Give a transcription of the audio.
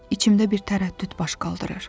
İçimdə bir tərəddüd baş qaldırır.